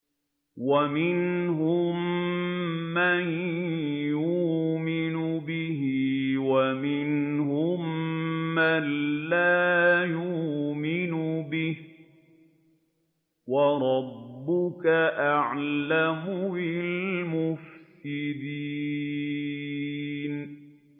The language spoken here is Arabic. وَمِنْهُم مَّن يُؤْمِنُ بِهِ وَمِنْهُم مَّن لَّا يُؤْمِنُ بِهِ ۚ وَرَبُّكَ أَعْلَمُ بِالْمُفْسِدِينَ